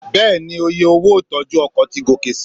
Bẹ́ẹ̀ni, oye owó ìtọ́jú ọkọ̀ ti gòkè si.